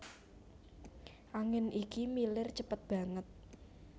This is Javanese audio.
Angin iki milir cepet banget